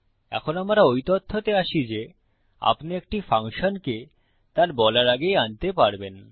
এই আমরা ওই তথ্যতে আসি যে আপনি একটি ফাংশনকে তার বলার আগেই আনতে পারবেন